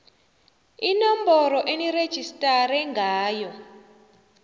inomboro enirejistare ngayo